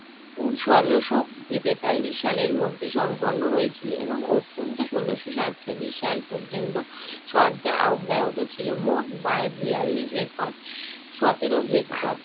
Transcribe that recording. উহ ষোলশ তেতাল্লিশ সালের মধ্যে সম্পন্ন হয়েছিল এবং অত্যন্ত ষোলশ সাতচল্লিশ সাল পর্যন্ত চর্যা অব্যাহত ছিল। মোট বায়~ বেয়াল্লিশ একর সতেরো হেক্টর